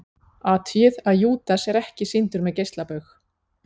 Athugið að Júdas er ekki sýndur með geislabaug.